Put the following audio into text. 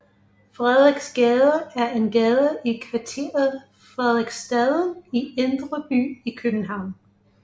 Frederiksgade er en gade i kvarteret Frederiksstaden i Indre By i København